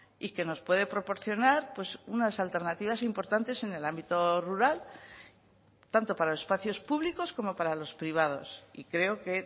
y que nos puede proporcionar unas alternativas importantes en el ámbito rural tanto para los espacios públicos como para los privados y creo que